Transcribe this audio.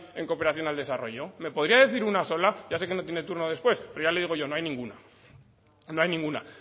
en cooperación al desarrollo me podría decir una sola ya sé que no tiene turno después pero ya le digo yo no hay ninguna no hay ninguna